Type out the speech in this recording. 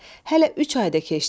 Hələ üç ay da keçdi.